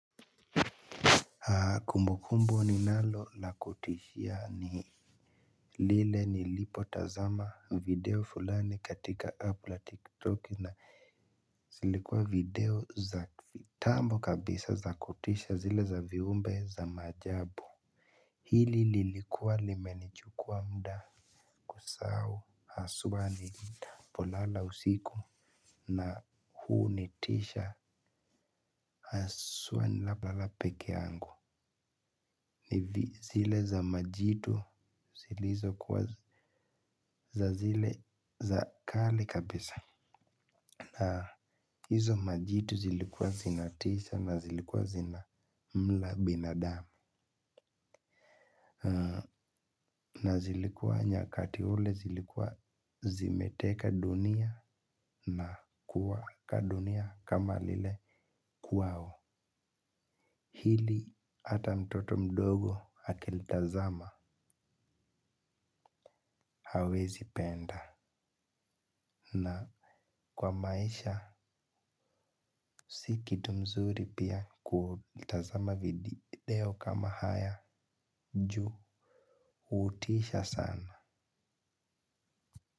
Kumbukumbu ni nalo la kutishia ni lile ni lipo tazama video fulani katika App la Tiktok na zilikuwa video za kitambo kabisa za kutisha zile za viumbe za majabu. Hili lilikuwa limenichukua muda. Kusahau aswa nilipolala usiku na hu nitisha aswa ni napolala peke yangu. Nivi zile za majitu zilizo kuwa za zile za kale kabisa. Na hizo majitu zilikuwa zinatisha na zilikuwa zina mla binadamu. Na zilikuwa nyakati ule zilikuwa zimeteka dunia na kuwa ka dunia kama lile kwao. Hili ata mtoto mdogo akilitazama hawezi penda. Na kwa maisha si kitu mzuri pia kutazama video kama haya juu hutisha sana.